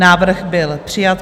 Návrh byl přijat.